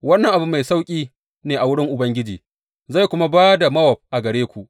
Wannan abu mai sauƙi ne a wurin Ubangiji; zai kuma ba da Mowab a gare ku.